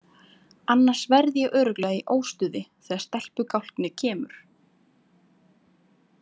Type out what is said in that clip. Annars verð ég örugglega í óstuði þegar stelpugálknið kemur.